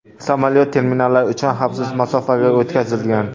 Samolyot terminallar uchun xavfsiz masofaga o‘tkazilgan.